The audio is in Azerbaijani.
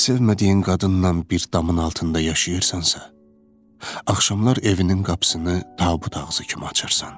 Sevmədiyin qadınnan bir damın altında yaşayırsansa, axşamlar evinin qapısını tabut ağzı kimi açırsan.